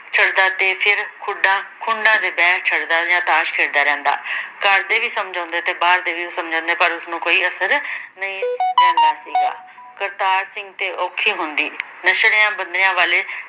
ਚੜਦਾ ਦੇ ਫਿਰ ਖੁਡਾਂ ਖੂੰਡਾਂ ਤੇ ਬਹਿ ਛੱਡਦਾ ਜਾਂ ਤਾਸ਼ ਖੇਡਦਾ ਰਹਿੰਦਾ ਘਰਦੇ ਵੀ ਸਮਝਾਉਂਦੇ ਤੇ ਬਾਹਰ ਦੇ ਵੀ ਸਮਝਾਉਂਦੇ ਪਰ ਉਸ ਨੂੰ ਕੋਈ ਅਸਰ ਨਈ ਪੈਂਦਾ ਸੀਗਾ ਕਰਤਾਰ ਸਿੰਘ ਤੇ ਔਖੀ ਹੁੰਦੀ ਬੰਦਿਆਂ ਵਾਲੇ